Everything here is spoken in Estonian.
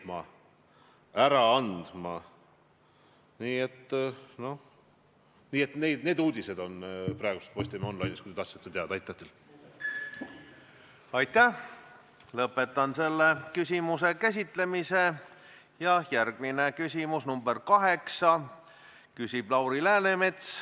Ma arvan, et ennast umbkaudu tsiteerides ütlesin eile ka Rakvere gümnaasiumis, et meie julgeolek algab siit, sellest gümnaasiumi aulast, ja laiendatuna sellest 1,3 miljonist elanikust, kui sidus see ühiskond on ja kui tugev see ühiskond on.